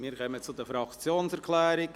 Wir kommen zu den Fraktionserklärungen;